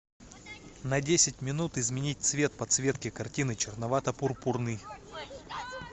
на десять минут изменить цвет подсветки картины черновато пурпурный